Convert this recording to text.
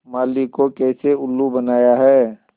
माली को कैसे उल्लू बनाया है